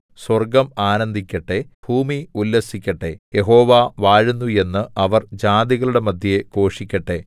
സ്വർഗ്ഗം ആനന്ദിക്കട്ടെ ഭൂമി ഉല്ലസിക്കട്ടെ യഹോവ വാഴുന്നു എന്ന് അവർ ജാതികളുടെ മദ്ധ്യേ ഘോഷിക്കട്ടെ